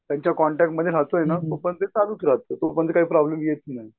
त्यांच्या कॉन्टॅक्टमध्ये राहतोय ना तोपर्यंत ते चालूच राहतंय. तोपर्यंत काही प्रॉब्लेम येत नाही.